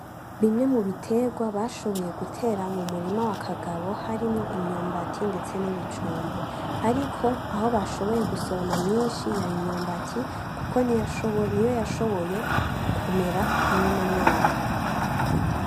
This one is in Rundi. Bimwe mu bitegwa bashoboye gutera mumurima wa KAGABO harimwo imyumbati ndetse n'ibijumbu, ariko aho bashoboye gusoroma myinshi yari imyumbati kuko niyo yashoboye kumera muruno mwaka.